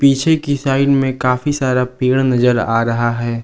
पीछे की साइड में काफी सारा पेड़ नजर आ रहा है।